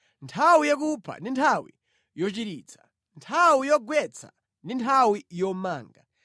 Nthawi yakupha ndi nthawi yochiritsa, nthawi yogwetsa ndi nthawi yomanga.